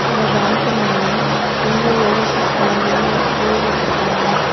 இந்த பேங்க் மேல India overseas வங்கின்னு போர்டு வச்சிருக்காங்க.